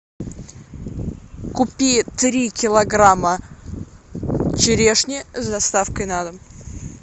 купи три килограмма черешни с доставкой на дом